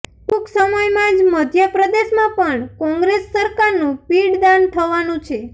ટૂંક સમયમાં જ મધ્યપ્રદેશમાં પણ કોંગ્રેસ સરકારનું પિંડદાન થવાનું છે